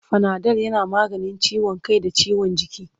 Fanadol yana maganin ciwon kai da ciwon jiki.